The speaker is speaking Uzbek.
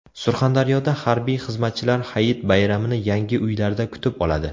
Surxondaryoda harbiy xizmatchilar hayit bayramini yangi uylarda kutib oladi.